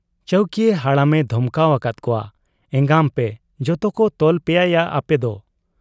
ᱪᱟᱹᱣᱠᱤᱭᱟᱹ ᱦᱟᱲᱟᱢᱮ ᱫᱷᱚᱢᱠᱟᱣ ᱟᱠᱟᱫ ᱠᱚᱣᱟ, 'ᱮᱸᱜᱟᱢᱯᱮ ᱡᱚᱛᱳᱠᱚ ᱛᱚᱞ ᱯᱮᱭᱟᱭᱟ ᱟᱯᱮᱫᱚ ᱾